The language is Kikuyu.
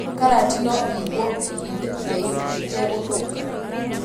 Karati no ĩigwo ihinda iraihũ ĩtegũthũka